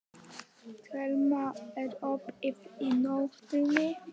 Thelma, er opið í Nóatúni?